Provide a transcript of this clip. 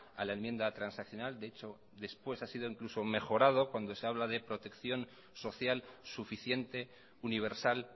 a la enmienda transaccional de hecho después ha sido incluso mejorado cuando se habla de protección social suficiente universal